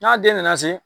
N'a den nana se